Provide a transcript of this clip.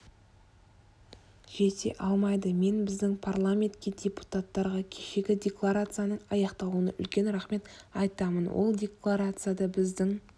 жете алмайды мен біздің парламентке депутаттарға кешегі декларацияның аяқталуына үлкен рахмет айтамын ол декларацияда біздің